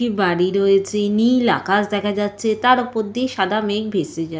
একটি বাড়ি রয়েছে নীল আকাশ দেখা যাচ্ছে তার ওপর দিয়ে সাদা মেঘ ভেসে যা --